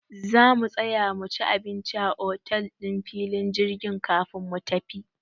Za mu tsaya muci abinci a otel ɗin filin jirgin kafin mu tafi.